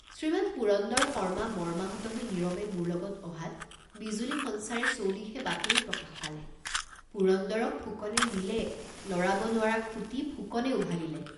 শ্ৰীমান পুৰন্দৰ শৰ্মা মৰ্মাহত হৈ নীৰৱে মোৰ লগত অহাত বিজুলী সঞ্চাৰে চৌদিশে বাতৰি প্ৰকাশ পালে পুৰন্দৰক ফুকনে নিলে লৰাব নোৱাৰা খুটি ফুকনে উভালিলে।